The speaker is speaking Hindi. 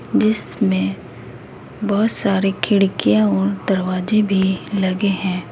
जिसमें बहुत सारे खिड़कियां और दरवाजे भी लगे हैं।